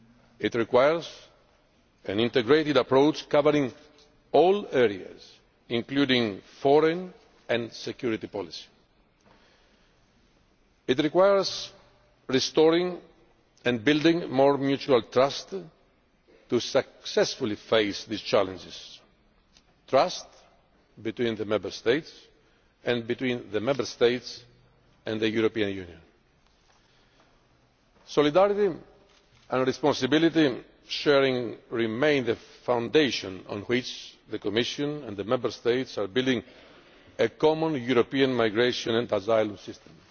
This requires an integrated approach covering all areas, including foreign and security policy. It requires restoring and building more mutual trust to successfully face these challenges trust between the Member States, and between the Member States and the European Union. The sharing of solidarity and responsibility remains the foundation on which the Commission and the Member States are building a common European migration and asylum system